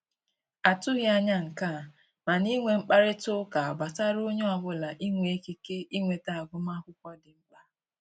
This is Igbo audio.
A tụghị anya nke a, mana inwe mkparịta ụka gbasara onye ọbụla inwe ikike inweta agụmakwụkwọ dị mkpa